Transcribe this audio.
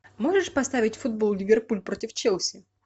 можешь поставить футбол ливерпуль против челси